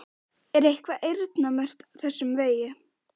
Erla: Er eitthvað eyrnamerkt þessum vegi?